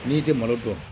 N'i tɛ malo dɔn